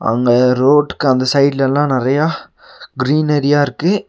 அங்க ரோட்டுக்கு அந்த சைடுலலா நெறையா கிரீனரியா இருக்கு.